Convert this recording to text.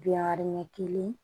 Biwari ɲɛ kelen